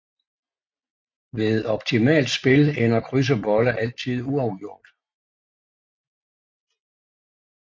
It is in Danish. Ved optimalt spil ender kryds og bolle altid uafgjort